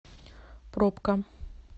пробка